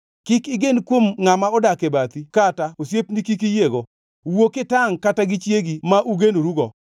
Kik igen kuom ngʼama odak e bathi kata osiepni kik iyiego. Wuo kitangʼ kata gi chiegi ma ugenorugo.